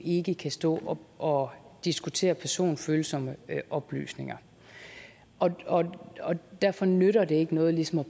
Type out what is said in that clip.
ikke kan stå og diskutere personfølsomme oplysninger og derfor nytter det ikke noget ligesom at